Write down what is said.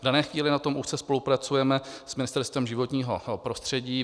V dané chvíli na tom úzce spolupracujeme s Ministerstvem životního prostředí.